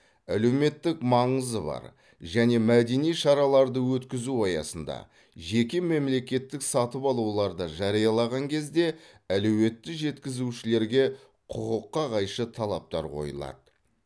әлеуметтік маңызы бар және мәдени шараларды өткізу аясында жеке мемлекеттік сатып алуларды жариялаған кезде әлеуетті жеткізушілерге құқыққа қайшы талаптар қойылады